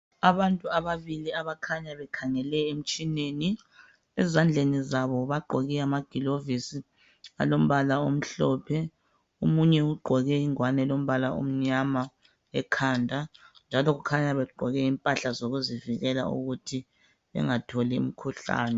Abantu ababili abakhanya bekhangele emtshineni ezandleni zabo bagqoke amagilovisi alombala omhlophe omunye ugqoke ingowane elombala omnyama ekhanda njalo kukhanya begqoke impahla zokuzivikela ukuthi bengatholi imkhuhlane.